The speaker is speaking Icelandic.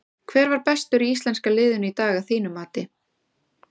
Hver var bestur í íslenska liðinu í dag að þínu mati?